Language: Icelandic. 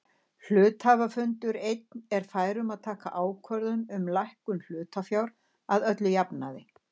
Hluthafafundur einn er fær um að taka ákvörðun um hækkun hlutafjár að öllum jafnaði.